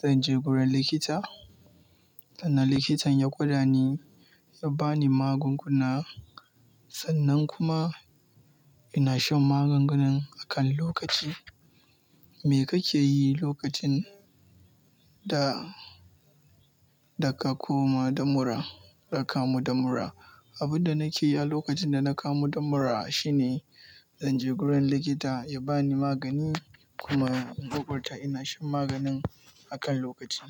zan je gurin likita, sannan likitan ya guda ni, ya ba ni magunguna, sannan kuma ina shan magungunan a kan lokaci. Me kake yi lokacin da, da ka koma da mura, da ka kamu da mura? Abin da nake yi a lokacin da na kamu da mura shine, zan je gurin likita ya ba ni magani kuma in kokarta ina shan maganin a kan lokaci.